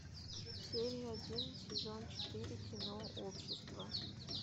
серия один сезон четыре кино общество